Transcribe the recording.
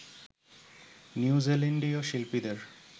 নিউজিল্যান্ডীয় শিল্পীদের